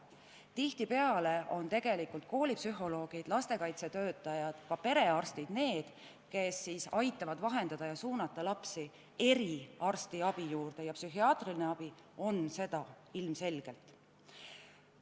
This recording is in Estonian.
Tihtipeale on tegelikult koolipsühholoogid, lastekaitsetöötajad ja perearstid need, kes aitavad teavet vahendada ja suunata lapsi eriarstiabi juurde, mida psühhiaatriline abi ilmselgelt on.